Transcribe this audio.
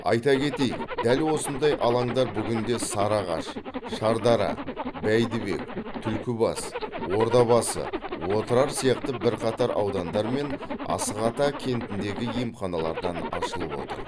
айта кетейік дәл осындай алаңдар бүгінде сарыағаш шардара бәйдібек түлкібас ордабасы отырар сияқты бірқатар аудандар мен асық ата кентіндегі емханалардан ашылып отыр